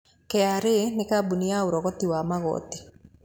KRA nĩ kambuni ya ũrogoti wa magoti.